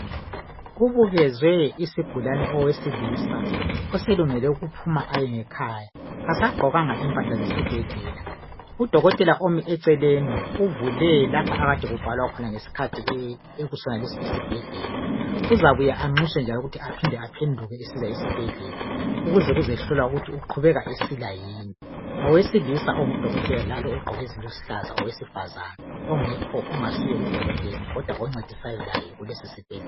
Kubukezwe isigulane, owesilisa oselungele ukuphuma aye ngekhaya kasagqokanga impahla ezesibhedlela. Udokotela uvule lapho akade kubhalwa khona ngesikhathi ekusonalesi isibhedlela. Uzabuya anxuswe njalo ukuthi aphinde njalo aphenduke esibhedlela ukuze kuzehlolwa ukuthi uqhubeka esila yini ngowesilisa udokotela Lalo ogqoke eziluhlaza owesifazane ongekho ongasuye udokotela kodwa oncedisayo laye kusonesi isibhedlela